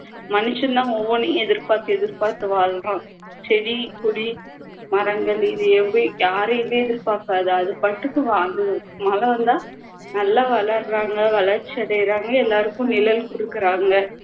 Manison தான் ஒவ்வொன்னையும் எதிர்பார்த்து எதிர்பார்த்து வாழறோம் செடி கொடி மரங்கள் இது எவை யாரையுமே எதிர்பார்க்காது அது பாட்டுக்கு வாழ்ந்துரும் மரம்ன்னா நல்லா வளர்றாங்க வளர்ச்சியடையறாங்க எல்லாருக்கும் நிழல் கொடுக்குறாங்க